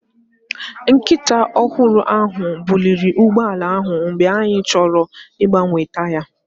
Nkịta ọhụrụ ahụ buliri ụgbọ ala ahụ mgbe anyị chọrọ ịgbanwe taya.